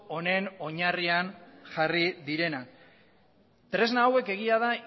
honen oinarrian jarri direnak tresna hauek egia da